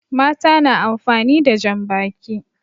Mata na amfani da jan baki